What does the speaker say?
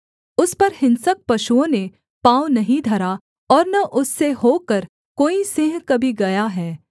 उस पर हिंसक पशुओं ने पाँव नहीं धरा और न उससे होकर कोई सिंह कभी गया है